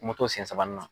Moto sen saba n na